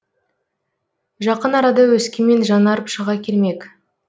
жақын арада өскемен жаңарып шыға келмек